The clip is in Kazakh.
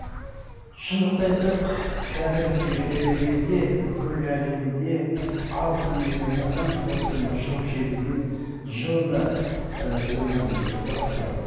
шындықты айтсақ қазіргі і кезде бүкіл әлемде алты миллион адам осы мына шылым шегуден жылда ыыы өмірін жоғалыватыр